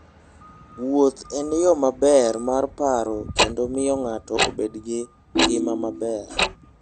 Wuoth en yo maber mar paro kendo miyo ng'ato obed gi ngima maber.